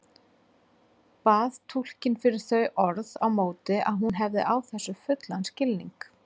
Bað túlkinn fyrir þau orð á móti að hún hefði á þessu fullan skilning.